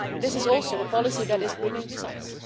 This is also the policy that is bringing results.